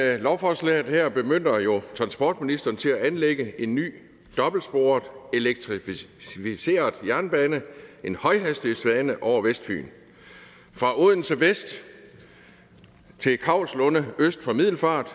det lovforslaget her bemyndiger jo transportministeren til at anlægge en ny dobbeltsporet elektrificeret jernbane en højhastighedsbane over vestfyn fra odense vest til kauslunde øst for middelfart